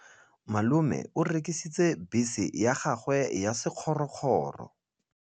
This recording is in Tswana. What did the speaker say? Malome o rekisitse bese ya gagwe ya sekgorokgoro.